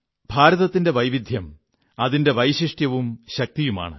ഭാരതത്തിന്റെ വൈവിധ്യം അതിന്റെ വൈശിഷ്ട്യവും ശക്തിയുമാണ്